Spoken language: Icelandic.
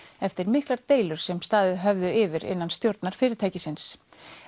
eftir miklar deilur sem staðið höfðu yfir innan stjórnar fyrirtæksins